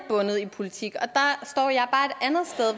i politik